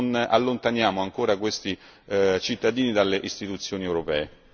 non allontaniamo ancora questi cittadini dalle istituzioni europee.